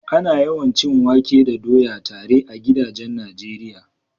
Ana yawan cin wake da doya tare a gidajen Najeriya.